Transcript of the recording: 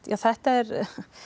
þetta er